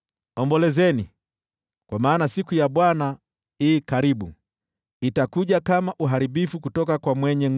Ombolezeni, kwa maana siku ya Bwana i karibu, itakuja kama uharibifu kutoka kwa Mwenyezi.